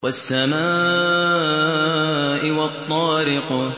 وَالسَّمَاءِ وَالطَّارِقِ